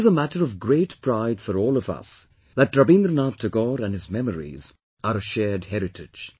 It is a matter of great pride for all of us that Rabindranath Tagore and his memories are a shared heritage